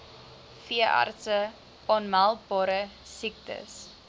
veeartse aanmeldbare siektes